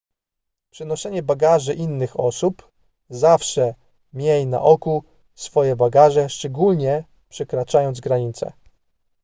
przenoszenie bagaży innych osób zawsze miej na oku swoje bagaże szczególnie przekraczając granice